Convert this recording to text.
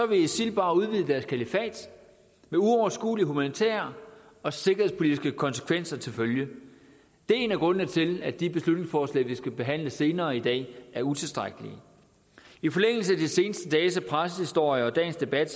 vil isil bare udvide deres kalifat med uoverskuelige humanitære og sikkerhedspolitiske konsekvenser til følge det er en af grundene til at de beslutningsforslag vi skal behandle senere i dag er utilstrækkelige i de seneste dages pressehistorier og dagens debat